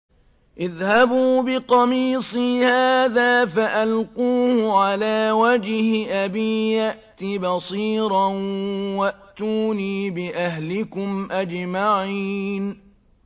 اذْهَبُوا بِقَمِيصِي هَٰذَا فَأَلْقُوهُ عَلَىٰ وَجْهِ أَبِي يَأْتِ بَصِيرًا وَأْتُونِي بِأَهْلِكُمْ أَجْمَعِينَ